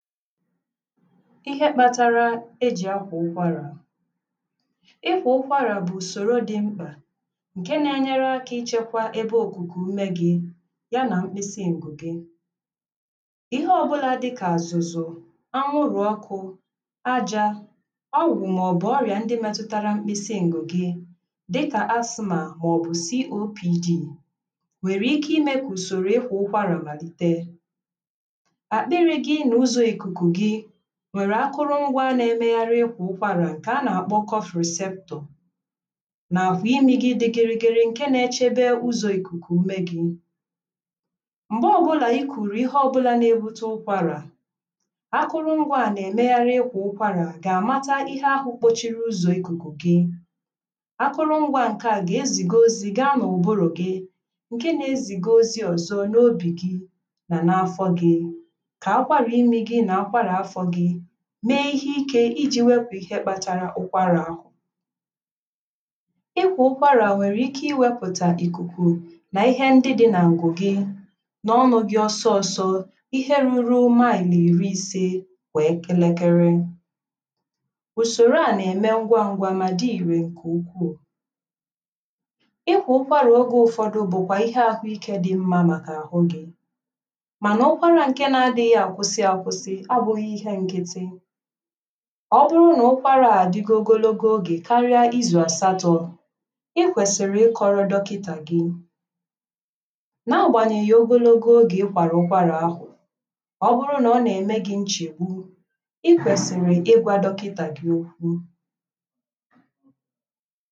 ihe kpatara e jì akwà ụkwarà ịkwà ụkwarà bụ̀ ùsòro dị mkpà n̄ke na-enyere akā ichēkwā ebe òkùkù ume gị̄ ya nà mkpịsị ǹgụ̀ gị ihe ọbụlā dịkà àzụ̀zụ̀ anwụrụ̀ ọkụ̄ ajā ọwụ̀wụ̀ màọ̀bụ̀ ọrị̀à ndị metụtara mkpịsị ǹgụ̣̀̀ gị dịkà asmà màọ̀bụ̀ copd wèrè ike imē kà ùsòrò ịkwà ụkwarà màlite àkpịrị̄ gị nà uzō ìkùkù gị wère akụrụ ngwā na-emegharị ikwà ụkwarà ǹkè a nà-àkpọ kọfròseptọ̀ nà àkwà imī gị dị gịrịgịrị ǹke na-echekwe ụzọ̄ ìkùkù ume gị̄ m̀gbe ọbụlà i kùrù ihe ọbụlà na-ebute ụkwarà akụrụ ngwā à nà-emegharị ịkwà ukwara ̀gà-àmata ihe ahụ̄ gbochiri ụzọ̀ ìkùkù gị akụrụ ngwā̄ ǹke à gà-ezìga ozī gaa n’ụ̀bụrụ̀ gị ǹke na-ezìga ozī ọ̀zọ n’obì gị mà n’afọ gị̄ kà akwarà imī gị̄ nà akwarà afọ̄ gị̄ mee ihe ikē iji wepụ̄ ihe kpara ụkwarà ahụ̀ ịkwà ụkʷarà nwèrè ike íwēpụ̀tà ìkùkù nà ihe ndị dị nà ǹgụ̀ gị n’ọnụ̄ gị̇̄ ọsọọ̄sọ̄ ihe ruru maị̀lị̀ ìri ise gbàa elekere ùsòrò a nà-ème ngwa ngwa mà dị ìrì ǹkè ukwuù ịkwà ụkwarà ogē ụfọdụ bụkwā ihe ahụ ikē dị mmā màkà àhụ gị̄ mànà ụkwarā ǹke na-adịghị̄ àkwụsị akwụsị abụ̄ghị̄ ihe nkịtị ọ bụrụ nà ụkwarā à àdigo ogologo ogè karịa izù àsatọ̄ Ị kwèsị̀rị̀ ịkọ̄rọ̄ dọkità gị n’agbànyèghì ogologo ogè ịkwàrà ụkwarà ahụ̀ ọ bụrụ nà ọ nà-ème gị̄ nchèkpu i kwèsị̀rị̀ ịgwā dọkịtà gị okwu